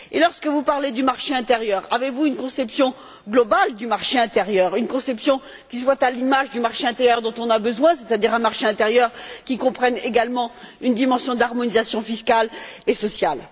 Lorsque vous parlez du marché intérieur, avez vous une conception globale du marché intérieur, une conception qui soit à l'image du marché intérieur dont on a besoin, c'est à dire un marché intérieur qui comprenne également une dimension d'harmonisation fiscale et sociale?